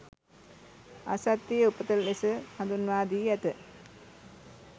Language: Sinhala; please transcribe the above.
අසත්‍යයේ උපත ලෙස හඳුන්වා දී ඇත